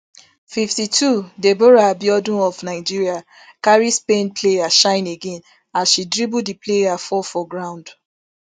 fifty-two deborah abiodun of nigeria carry spain player shine again as she dribble di player fall for ground